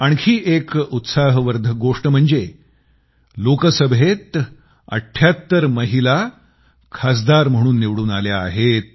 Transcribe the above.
आणखी एक उत्साहवर्धक गोष्ट म्हणजे लोकसभेमध्ये 78 अठ्ठ्याहत्तर महिला खासदार म्हणून निवडून आल्या आहेत